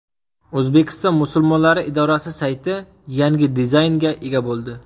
O‘zbekiston Musulmonlari idorasi sayti yangi dizaynga ega bo‘ldi.